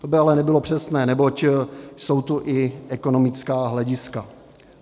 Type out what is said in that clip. To by ale nebylo přesné, neboť jsou tu i ekonomická hlediska.